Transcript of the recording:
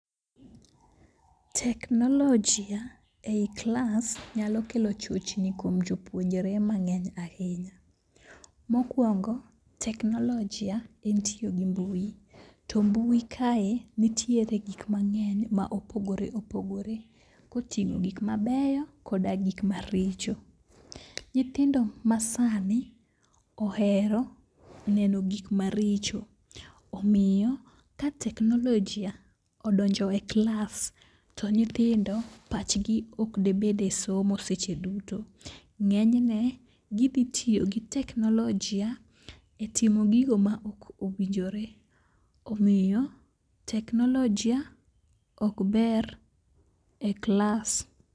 Technology e i klas nyalo kelo chochni kuom jopuonjre mang'eny ahinya. Mokwongo teknoolojia en tiyo gi mbui to mbui kae nitiere gikmang'eny ma opogore opogore koting'o gikmabeyo koda gik maricho. Nyithindo masani ohero neno gikma richo omiyo ka teknolojia odonjo e klas to nyithindo pachgi ok de bed e somo seche duto. Ng'enyne gidhi tiyo gi teknolojia e timo gigo ma ok owinjore omiyo teknolojia ok ber e klas.